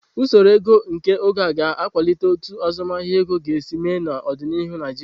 Usoro ego nke oge a, ga akwalite otu azụmahịa ego ga-esi mee n'ọdịnihu Naijiria.